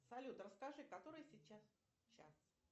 салют расскажи который сейчас час